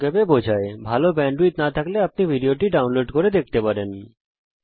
যদি আপনার কাছে ভালো ব্যান্ডউইডথ না থাকে তাহলে আপনি এটা ডাউনলোড করেও দেখতে পারেন